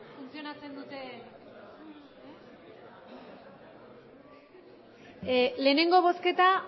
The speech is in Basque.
funtzionatzen duten lehenengo bozketa